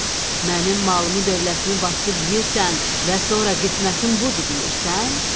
Mənim malımı, dövlətimi basıb yeyirsən və sonra qismətim budur deyirsən.